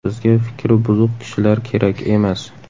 Bizga fikri buzuq kishilar kerak emas.